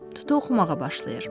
Tutu oxumağa başlayır.